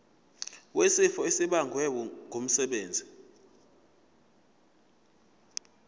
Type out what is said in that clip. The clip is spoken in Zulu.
wesifo esibagwe ngumsebenzi